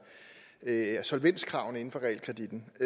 af solvenskravene inden for realkreditten og